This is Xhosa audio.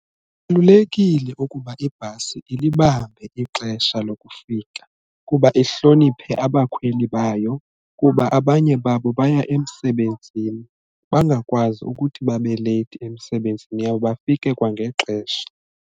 Kubalulekile ukuba ibhasi ilibambe ixesha lokufika kuba ihloniphe abakhweli bayo kuba abanye babo baya emsebenzini bangakwazi ukuthi babe leyithi emsebenzini yabo bafike kwangexesha.